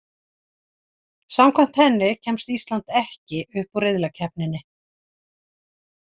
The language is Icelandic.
Samkvæmt henni kemst Ísland ekki upp úr riðlakeppninni.